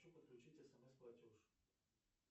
хочу подключить смс платеж